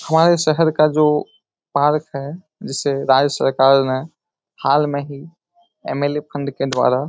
हमारे शहर का जो पार्क है जिसे राज्य सरकार ने हाल में ही एम.एल.ए. के द्वारा --